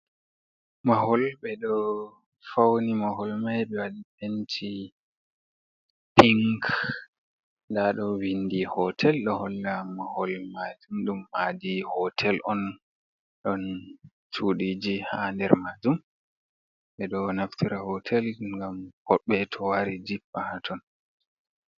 "Mahol" ɓeɗo fauni mahol mai be waɗi penti pink nɗa ɗo vindi hotel ɗo holla mahol majum ɗum madi hotel on ɗon chuɗiji ha nder majum ɓeɗo naftira hotel ngam hoɓɓe to wari jippa haton.